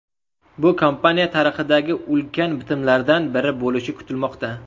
Bu kompaniya tarixidagi ulkan bitimlardan biri bo‘lishi kutilmoqda.